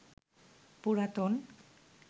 পুরাতন